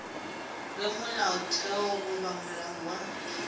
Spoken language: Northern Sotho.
ge molaotheo goba molao wa